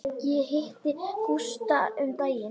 Ég hitti Gústa um daginn.